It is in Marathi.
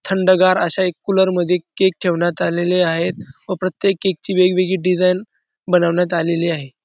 थंडगार अश्या एक कूलर मध्ये केक ठेवण्यात आलेले आहेत व प्रत्येक केक ची वेगवेगळी डिझाइन बनवण्यात आलेली आहे.